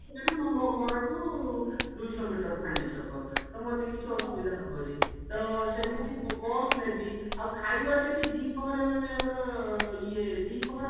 ସେଟା ନା ମୋ ମୋ ଘର ଠୁ ଦୁଇଶହ ମିଟର ଫାଣ୍ଡି ଛକ ତ ମୋତେ କିଛି ଅସୁବିଧା ହବନି ତ ସେମିତି bus ନେବି ଆଉ ଖାଇବା ସେଠି ଦିପ୍ରହରେ ମାନେ ଆମର ଇଏ ଦିପ୍ରହର